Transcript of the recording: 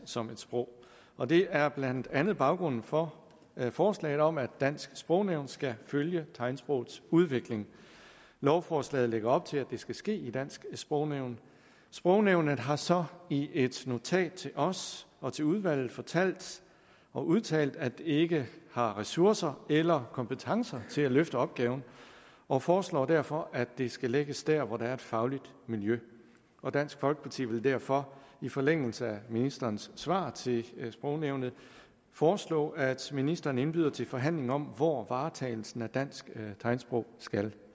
som et sprog og det er blandt andet baggrunden for forslaget om at dansk sprognævn skal følge tegnsprogets udvikling lovforslaget lægger op til at det skal ske i dansk sprognævn sprognævnet har så i et notat til os og til udvalget fortalt og udtalt at det ikke har ressourcer eller kompetencer til at løfte opgaven og foreslår derfor at det skal lægges der hvor der er et fagligt miljø dansk folkeparti vil derfor i forlængelse af ministerens svar til sprognævnet foreslå at ministeren indbyder til forhandlinger om hvor varetagelsen af dansk tegnsprog skal